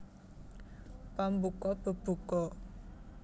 Pambuka bebuka